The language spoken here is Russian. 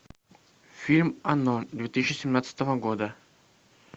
фильм оно две тысячи семнадцатого года